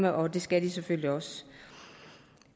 og det skal de selvfølgelig også